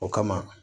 O kama